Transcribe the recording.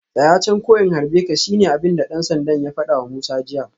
Tsaya can ko in harbe ka shine abinda dan sandan ya fadawa Musa jiya